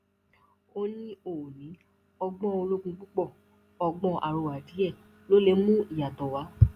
ó ní ó ní ọgbọn ológun púpọ ọgbọn àrọwà díẹ ló lè mú ìyàtọ wá